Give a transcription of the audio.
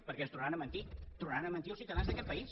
perquè ens tornaran a mentir tornaran a mentir als ciutadans d’aquest país